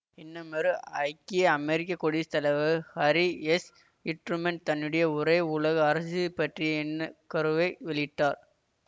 இன்னுமொரு ஐக்கிய அமெரிக்க குடியஸ்த் தலைவர் ஹாரி எஸ் ட்ரூமன் தன்னுடைய ஒரே உலக அரசு பற்றிய எண்ணக்கருவை வெளியிட்டார்